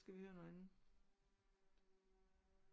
Skal vi høre noget andet